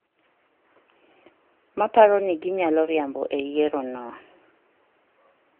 maparo ni ginyalo riambo e yiero no...